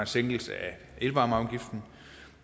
sænkelse af elvarmeafgiften